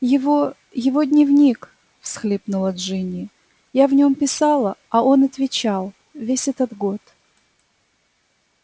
его его дневник всхлипнула джинни я в нём писала а он отвечал весь этот год